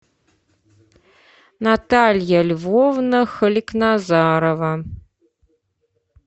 наталья львовна халикназарова